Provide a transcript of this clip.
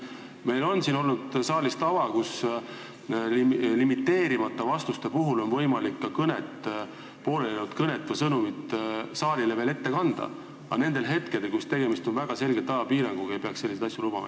Meil on siin saalis olnud tava, et limiteerimata ajaga vastuste puhul on võimalik ka poolelijäänud kõne sõnumit saalile veel ette kanda, aga kui tegemist on väga selgelt ajapiiranguga, ei peaks selliseid asju lubama.